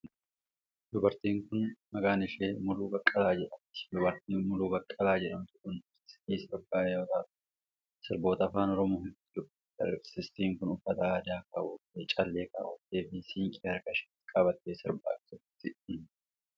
Dubartiin kun, maqaan ishee Muluu Baqqalaa jedhamti. Dubartiin Muluu Baqqalaa jedhamtu kun aartistii sirbaa yoo taatu, sirboota Afaan Oromoo hedduu sirbiteetti. Aartistiin kun uuffata aadaa kaawwattee, callee kaawwattee fi siinqee harka isheetti qabattee sirbaa jirti.